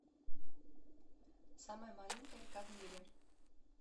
самая маленькая река в мире